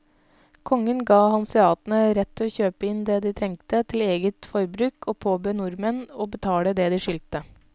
Kongen gav hanseatene rett til å kjøpe inn det de trengte til eget forbruk og påbød nordmenn å betale det de skyldte.